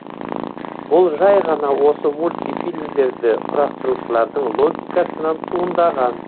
бұл жайғана осы мульти фильмдерді құрастырушылардың логикасынан туындаған